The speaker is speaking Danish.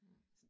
Hm